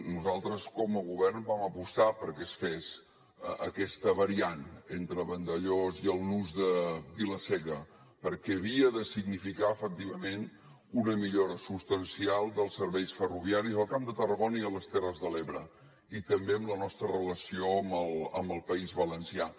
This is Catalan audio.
nosaltres com a govern vam apostar perquè es fes aquesta variant entre vandellòs i el nus de vila seca perquè havia de significar efectivament una millora substancial dels serveis ferroviaris al camp de tarragona i a les terres de l’ebre i també en la nostra relació amb el país valencià